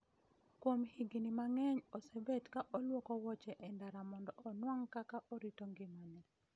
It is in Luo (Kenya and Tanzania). Kuom higni mang'eny osebet ka olwoko woche e ndara mondo onuang' kaka orito ngimane